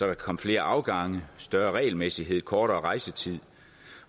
kan komme flere afgange større regelmæssighed kortere rejsetid